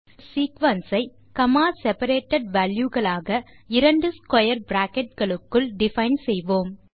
நாம் ஒரு சீக்வென்ஸ் ஐ காமா செபரேட்டட் valueகளாக இரண்டு ஸ்க்வேர் பிராக்கெட் களுக்குள் டிஃபைன் செய்வோம்